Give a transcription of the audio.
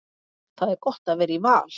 Það er gott að vera í Val.